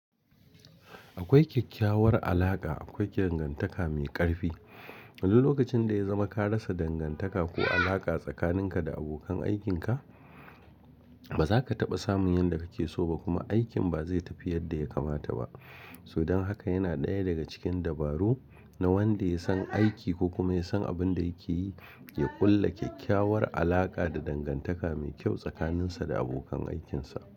Akwai kyakkyawar alaƙa, akwai dangantaka mai ƙarfi. Wani lokacin da ya zama ka rasa dangantaka ko alaƙa tsakaninka da abokan aikinka, ba za ka taɓa samun yanda kake so ba kuma aikin ba zai tafi yanda ya kamata ba. Don haka yana ɗaya daga cikin dabaru na wanda ya san aiki ko kuma ya san abin da yake yi, ya ƙulla kyakkyawar alaƙa da dangantaka mai kyau tsakaninsa da abokan aikinsa.